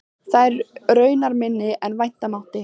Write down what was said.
Eru þær raunar minni en vænta mátti.